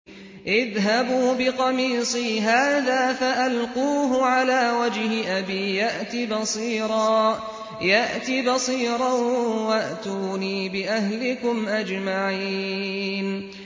اذْهَبُوا بِقَمِيصِي هَٰذَا فَأَلْقُوهُ عَلَىٰ وَجْهِ أَبِي يَأْتِ بَصِيرًا وَأْتُونِي بِأَهْلِكُمْ أَجْمَعِينَ